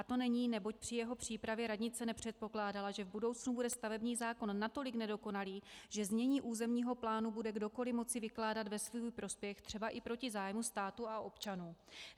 A to není, neboť při jeho přípravě radnice nepředpokládala, že v budoucnu bude stavební zákon natolik nedokonalý, že znění územního plánu bude kdokoli moci vykládat ve svůj prospěch třeba i proti zájmu státu a občanů.